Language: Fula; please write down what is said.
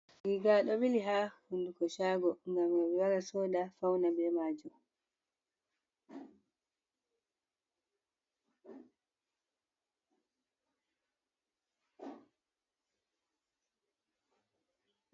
Riga ɗo ɓili ha hunduko chago, ngam hambi wara soda faunira ɓe maajum.